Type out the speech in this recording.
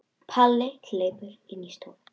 Palli hleypur inn í stofu.